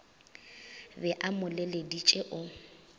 be a mo leleditše o